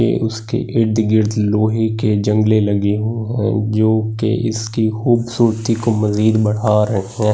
ईडे उसके इर्द गिर्द लोहे के जगले लगे हो जो के इसके खुबसूरती मलिन बड़ा रहे है जगले--